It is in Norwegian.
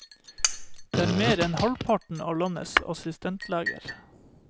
Det er mer enn halvparten av landets assistentleger.